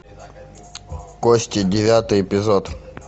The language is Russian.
кости девятый эпизод